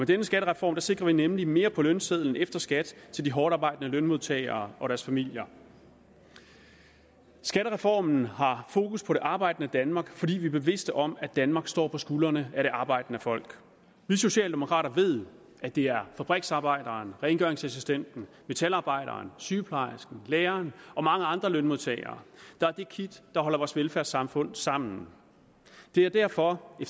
denne skattereform sikrer vi nemlig mere på lønsedlen efter skat til de hårdtarbejdende lønmodtagere og deres familier skattereformen har fokus på det arbejdende danmark fordi vi er bevidste om at danmark står på skuldrene af det arbejdende folk vi socialdemokrater ved at det er fabriksarbejderen rengøringsassistenten metalarbejderen sygeplejersken læreren og mange andre lønmodtagere der er det kit der holder vores velfærdssamfund sammen det er derfor vi